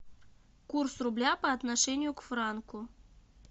курс рубля по отношению к франку